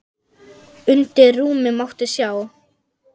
Undir rúmi mátti sjá.